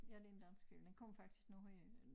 Ja det en dansk film den kommer faktisk nu her